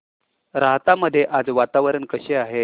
राहता मध्ये आज वातावरण कसे आहे